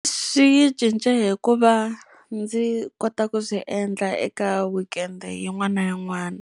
Swi yi cince hi ku va ndzi kota ku swi endla eka weekend-e yin'wana na yin'wana.